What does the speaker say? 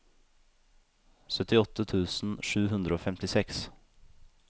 syttiåtte tusen sju hundre og femtiseks